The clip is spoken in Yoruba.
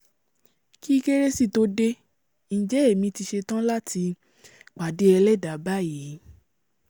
kí kérésì tó dé njẹ́ èmi ti ṣetán láti pàdé ẹlẹ́dàá báyìí